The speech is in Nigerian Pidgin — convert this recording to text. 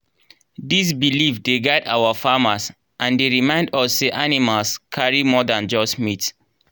these belief dey guide our farmers and dey remind us say animals carry more than just meat.